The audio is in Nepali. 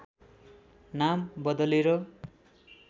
नाम बदलेर